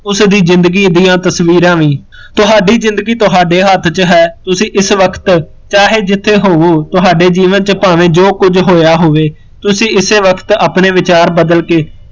ਉਸਦੀ ਜ਼ਿੰਦਗੀ ਦੀਆ ਤਸਵੀਰਾਂ ਵੀ, ਤੁਹਾਡੀ ਜ਼ਿੰਦਗੀ ਤੁਹਾਡੇ ਹੱਥ ਵਿੱਚ ਹੈ, ਤੁਸੀਂ ਇਸ ਵਕਤ ਚਾਹੇ ਜਿੱਥੇ ਹੋਵੋ, ਜੀਵਨ ਚ ਬਾਹਵੇ ਜੋ ਕੁਜ ਹੋਇਆ ਹੋਏ, ਤੁਸੀਂ ਇਸੇ ਵਕਤ ਆਪਣੇ ਵਿਚਾਰ ਬਦਲ ਕੇ